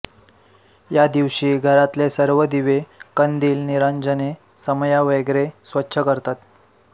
या दिवशी घरातले सर्व दिवे कंदिल निरांजने समया वगैरे स्वच्छ करतात